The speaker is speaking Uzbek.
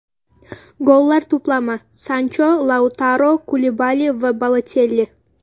Gollar to‘plami: Sancho, Lautaro, Kulibali va Balotelli.